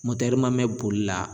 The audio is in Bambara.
mɛ boli la